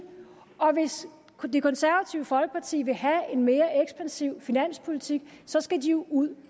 og hvis det konservative folkeparti vil have en mere ekspansiv finanspolitik så skal de jo ud